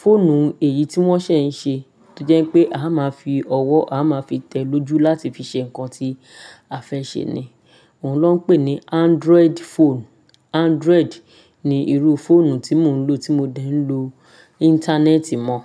Fóònù èyí tí wọ́n ṣẹ̀ ń ṣe tojẹ́ pé a máa fi ọwọ́, a máa fi tẹ lojú láti fi ṣe nǹkan tí a fẹ́ ṣe ni. Òun na ń pè ní Android phone. Android ni irú fóònù tí mò ń lò tí mo dẹ́ ń lo íńtánẹ́ẹ̀tì mọ́.